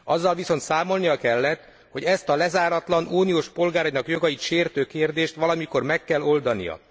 Azzal viszont számolnia kellett, hogy ezt a lezáratlan, az uniós polgárok jogait sértő kérdést valamikor meg kell oldania.